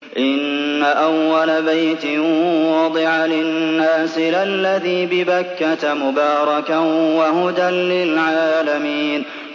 إِنَّ أَوَّلَ بَيْتٍ وُضِعَ لِلنَّاسِ لَلَّذِي بِبَكَّةَ مُبَارَكًا وَهُدًى لِّلْعَالَمِينَ